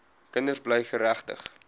kinders bly geregtig